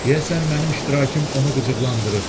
Deyəsən mənim iştirakım onu qıcıqlandırır.